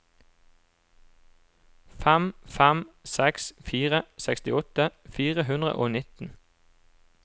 fem fem seks fire sekstiåtte fire hundre og nitten